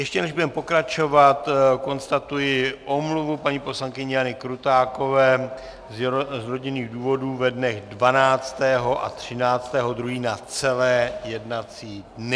Ještě než budeme pokračovat, konstatuji omluvu paní poslankyně Jany Krutákové z rodinných důvodů ve dnech 12. a 13. 2. na celé jednací dny.